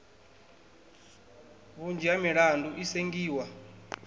vhunzhi ha milandu i sengiwa